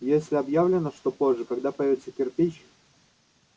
если объявлено что позже когда появятся кирпич